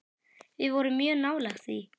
Við vorum mjög nálægt því.